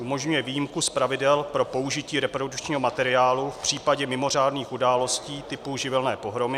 umožňuje výjimku z pravidel pro použití reprodukčního materiálu v případě mimořádných událostí typu živelní pohromy;